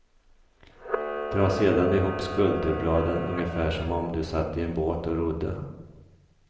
Dra sedan ihop skulderbladen ungefär som om du satt i en båt och rodde.